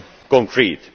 be concrete.